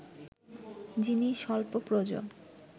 যিনি স্বল্পপ্রজ